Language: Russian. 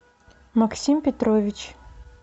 максим петрович